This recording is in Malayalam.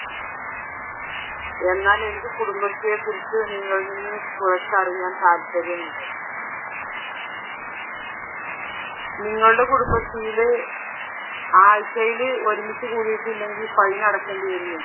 നിങ്ങളുടെ കുടുംബശ്രീയിൽ ആഴ്ചയിൽ ഒരുമിച്ച് കൂടിയിട്ടില്ലെങ്കിൽ ഫൈൻ അടക്കേണ്ടി വരുന്നുണ്ടോ?